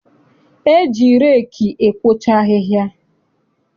E ji reeki ekwocha ahịhịa.